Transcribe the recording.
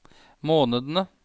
månedene